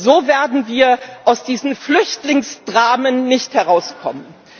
So werden wir aus diesen Flüchtlingsdramen nicht herauskommen.